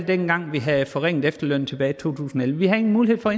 dengang vi havde forringet efterlønnen tilbage to tusind og elleve vi havde ingen mulighed for